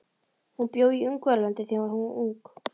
Hún bjó í Ungverjalandi þegar hún var ung.